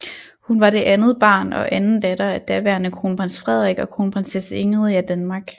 Hun var det andet barn og anden datter af daværende Kronprins Frederik og Kronprinsesse Ingrid af Danmark